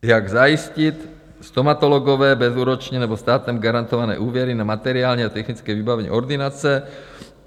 Jak zajistit - stomatologové bezúročně nebo státem garantované úvěry na materiální a technické vybavení ordinace.